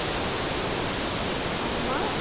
হ্যাঁ মা